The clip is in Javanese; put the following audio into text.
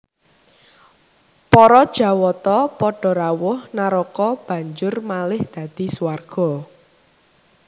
Para Jawata padha rawuh naraka banjur malih dadi swarga